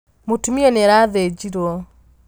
Mũtumia nĩarathĩnjirwo.